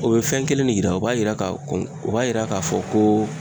O bɛ fɛn kelen ne yira o b'a yira k'a fɔ u b'a yira k'a fɔ ko